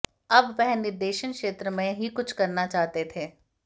अब वह निर्देशन क्षेत्र में ही कुछ करना चाहते थे